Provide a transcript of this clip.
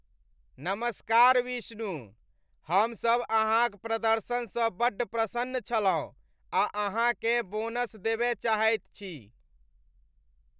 नमस्कार विष्णु, हमसभ अहाँक प्रदर्शनसँ बड्ड प्रसन्न छलहुँ आ अहाँकेँ बोनस देबय चाहैत छी।